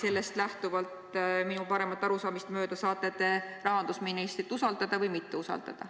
Sellest lähtuvalt te minu paremat arusaamist mööda saate rahandusministrit kas usaldada või mitte usaldada.